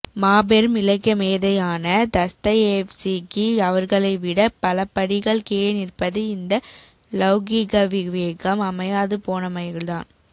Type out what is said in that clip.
மாபெரும் இலக்கியமேதையான தஸ்தயேவ்ஸ்கி அவர்களைவிடப் பலபடிகள் கீழே நிற்பது இந்த லௌகீகவிவேகம் அமையாதுபோனமையால்தான்